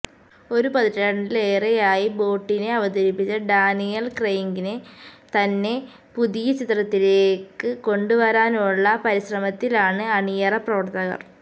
ഒരു പതിറ്റാണ്ടിലേറെയായി ബോണ്ടിനെ അവതരിപ്പിച്ച ഡാനിയല് ക്രെയ്ഗിനെ തന്നെ പുതിയ ചിത്രത്തിലേക്ക് കൊണ്ടുവരാനുള്ള പരിശ്രമത്തിലാണ് അണിയറ പ്രവര്ത്തകര്